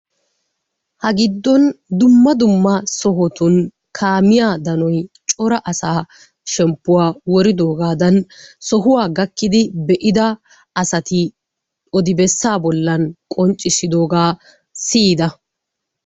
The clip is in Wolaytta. Ha giddon dumma dumma sohotun kaamiya daniy cora asaa shemppuwa woridoogaadan sohuwa gakkidi be'ida asati odibessaa bollan qonccissidoogaa siyida